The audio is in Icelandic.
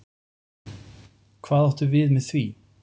Hvað áttu við með því?